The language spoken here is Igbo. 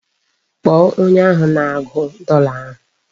Kpọọ onye ahụ na-agụ dọla ahụ!